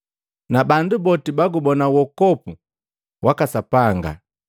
Na bandu boti bagubona uwokovu waka Sapanga!’ ”